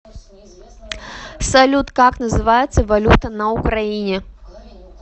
салют как называется валюта на украине